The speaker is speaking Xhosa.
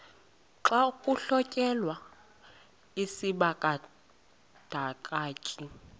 xa kuhlonyelwa isibandakanyi